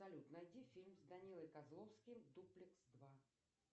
салют найди фильм с данилой козловским дуплекс два